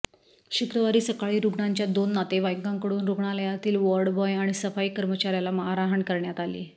शुक्रवारी सकाळी रुग्णांच्या दोन नातेवाईकांकडून रुग्णालयातील वॉर्डबाॅय अाणि सफाई कर्मचाऱ्याला मारहाण करण्यात आली